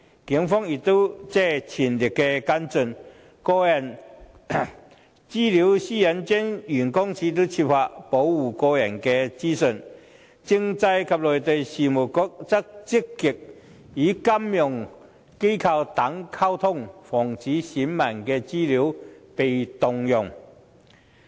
警方已全力跟進；香港個人資料私隱專員公署設法保護個人資料；而政制及內地事務局則積極與金融機構等溝通，防止選民的資料被盜用。